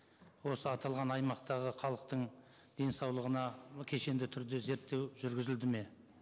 осы аталған аймақтағы халықтың денсаулығына кешенді түрде зерттеу жүргізілді ме